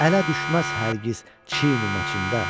Ələ düşməz hər giz çin-maçin də.